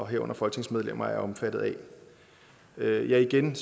herunder folketingsmedlemmer er omfattet af ja igen